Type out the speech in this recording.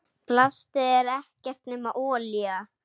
Plastið er ekkert nema olía.